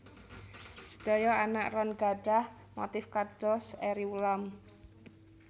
Sedaya anak ron gadhah motif kados eri ulam